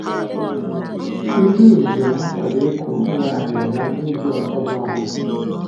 Mmiri ozuzu na-akwado ịkụ mkpụrụ aghịrịgha n'ubi otuboala